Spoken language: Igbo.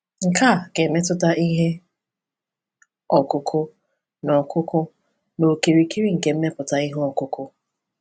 Nke a ga-emetụta ihe ọkụkụ na ọkụkụ na okirikiri nke mmepụta ihe ọkụkụ.